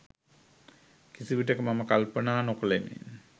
කිසිවිටක මම කල්පනා නොකළෙමි.